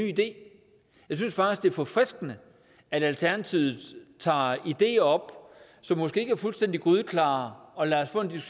idé jeg synes faktisk forfriskende at alternativet tager ideer op som måske ikke er fuldstændig grydeklare og lader os få en